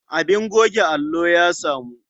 Abin goge allo ya samu.